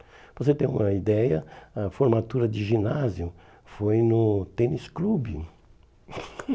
Para você ter uma ideia, a formatura de ginásio foi no tênis clube.